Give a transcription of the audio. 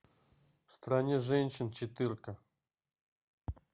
в стране женщин четырка